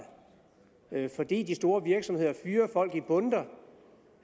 fordi de store virksomheder fyrer folk i bundter